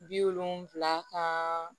Bi wolonwula ka